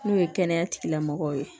N'o ye kɛnɛya tigilamɔgɔw ye